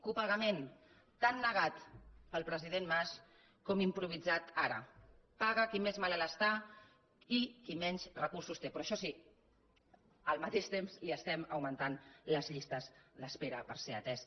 copagament tan negat pel president mas com improvisat ara paga qui més malalt està i qui menys recursos té però això sí al mateix temps li estem augmentant les llistes d’espera per ser atès